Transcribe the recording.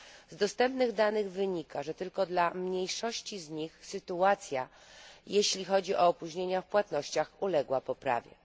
Z dostępnych danych wynika, że tylko dla mniejszości z nich sytuacja, jeśli chodzi o opóźnienia w płatnościach, uległa poprawie.